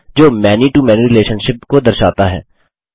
जो many to many relationship को दर्शाता है